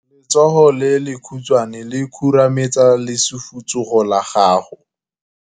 Letsogo le lekhutshwane le khurumetsa lesufutsogo la gago.